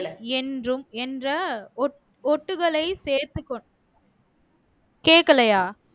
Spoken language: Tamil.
என்றும் என்ற ஒட் ஒட்டுகளை சேர்த்து கொண் கேட்கலையா